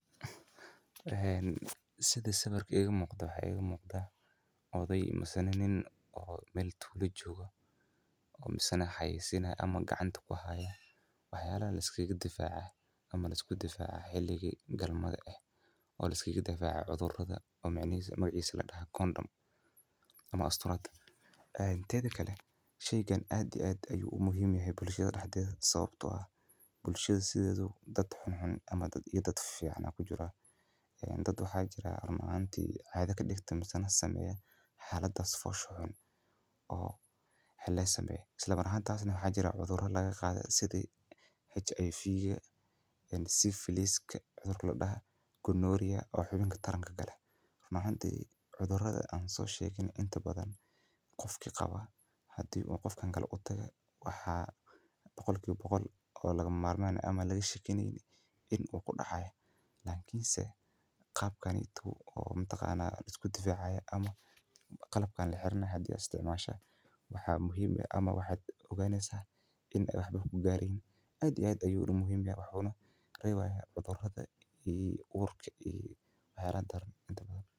Sida sawiirkaan iiga muuqada waxaa ii muqda odaay meel badiya jooga oo xayeeysiyaan wax yaabaha xiliyaha galmada liskaaga difaaco oo loo yaaqano kondam waxaa jira dad xun oo waxaas sameeyo waxaa jiraan cudura laga qaado sida aids waxaa shaki kujirin in laga qaadayo lakin qalabka haada isticmasho wuu kaa reebaya.